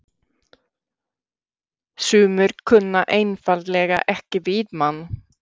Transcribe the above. Sumir kunna einfaldlega ekki við mann.